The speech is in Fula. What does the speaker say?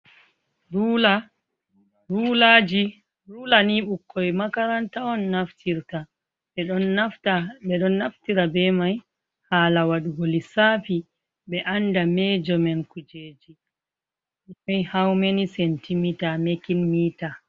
Rulaji, rula ni ɓukkoi makaranta on naftirta, ɓeɗon naftira be mai hala waɗugo lissafi ɓe anda mejo men kujeji haumeni sentimita mekin mita.